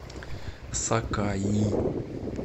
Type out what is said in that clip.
сакаи